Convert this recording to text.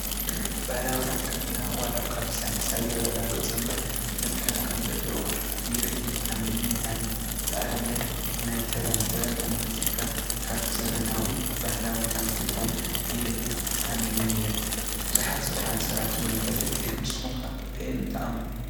ባህላዊ ሕክምና ዋላ ኳ ብሳይነስ ኣይረጋገፆ እምበር ዘድሕኑ ከም ዘለው ይርእን ይኣምንን እ። ኣነ ንኣብነት:- ናይ ተመን፡ ተመን ተነኪስካ ካብ ዘመናዊ ብባህላዊ ከም ትድሕን ይርእን ኣሚነን እየ ብዙሓት ዝደሓኑ ሰባት ይፈልጥ እየ። ንስኹም ከ ኣየን ትኣምኑ ?